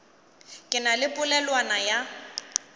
ke na le polelwana ya